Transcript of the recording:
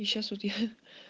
и сейчас вот я